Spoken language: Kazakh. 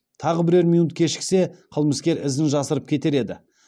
тағы бірер минут кешіксе қылмыскер ізін жасырып кетер еді